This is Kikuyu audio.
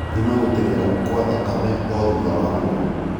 Thima gũtengera kwa thakame o thũtha wa mweri